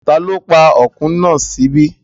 Ta ló pa ọkùn náà sí ibí?